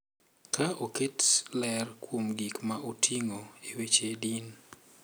Ka oketo ler kuom gik ma oting’o e weche din